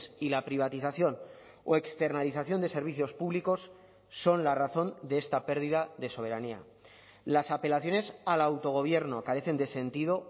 y la privatización o externalización de servicios públicos son la razón de esta pérdida de soberanía las apelaciones al autogobierno carecen de sentido